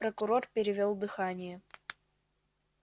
прокурор перевёл дыхание